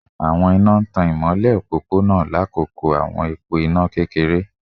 Awọn ina ina n tan imọlẹ opopona lakoko awọn ipo ina kekere